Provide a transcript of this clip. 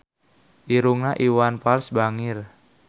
Irungna Iwan Fals bangir